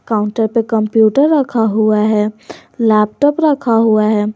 Counter पे computer रखा हुआ है लैपटॉप रखा हुआ है।